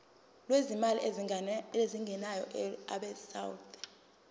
lwezimali ezingenayo abesouth